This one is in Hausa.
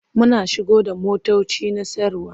Muna shigo da motoci na sayarwa.